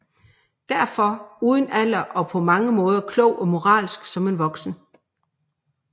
Derfor uden alder og på mange måder klog og moralsk som en voksen